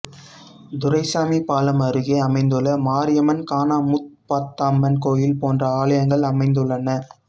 துரைசாமி பாலம் அருகே அமைந்துள்ள மரியம்மனுக்கானமுப்பாத்தம்மன் கோயில் போன்ற ஆலயங்கள் அமைந்துள்ளன